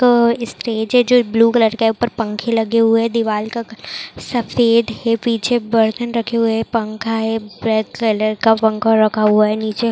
तो स्टेज है जो ब्लू कलर का है ऊपर पंखे लगे हुए है दीवाल का कलर सफ़ेद है पीछे बर्तन रखे हुए है पंखा है कलर का पंखा रखा हुआ है नीचॆ--